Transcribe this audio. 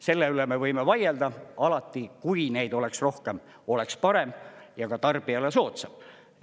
Selle üle me võime vaielda – alati, kui neid oleks rohkem, oleks parem ja ka tarbijale soodsam.